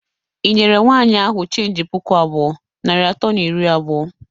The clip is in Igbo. Ị nyere nwaanyị ahụ cheenji puku abụọ, narị atọ na iri abụọ?